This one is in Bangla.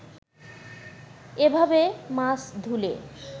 এভাবে মাছ ধুলে